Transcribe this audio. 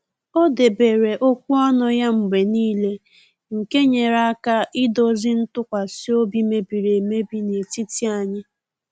O debere okwu ọnụ ya mgbe n'ile nke nyere aka idozi ntụkwasị obi mebiri emebi n'etiti anyị